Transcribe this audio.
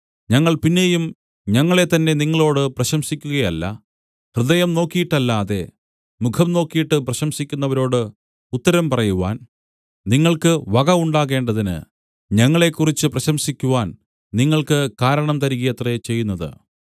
ഞങ്ങൾ പിന്നെയും ഞങ്ങളെത്തന്നെ നിങ്ങളോട് പ്രശംസിക്കുകയല്ല ഹൃദയം നോക്കിയിട്ടല്ലാതെ മുഖം നോക്കിയിട്ട് പ്രശംസിക്കുന്നവരോട് ഉത്തരം പറയുവാൻ നിങ്ങൾക്ക് വക ഉണ്ടാകേണ്ടതിന് ഞങ്ങളെക്കുറിച്ച് പ്രശംസിക്കുവാൻ നിങ്ങൾക്ക് കാരണം തരികയത്രേ ചെയ്യുന്നത്